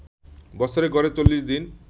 বছরে গড়ে ৪০ দিন